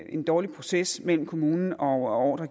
en dårlig proces mellem kommunen og